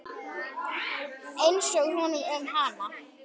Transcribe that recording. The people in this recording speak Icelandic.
Einsog honum um hana.